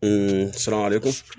surakale ko